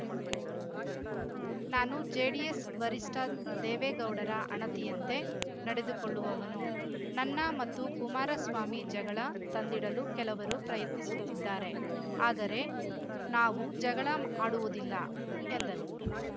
ನಾನು ಜೆಡಿಎಸ್‌ ವರಿಷ್ಠ ದೇವೇಗೌಡರ ಅಣತಿಯಂತೆ ನಡೆದುಕೊಳ್ಳುವವನು ನನ್ನ ಮತ್ತು ಕುಮಾರಸ್ವಾಮಿ ಜಗಳ ತಂದಿಡಲು ಕೆಲವರು ಪ್ರಯತ್ನಿಸುತ್ತಿದ್ದಾರೆ ಆದರೆ ನಾವು ಜಗಳ ಆಡುವುದಿಲ್ಲ ಎಂದರು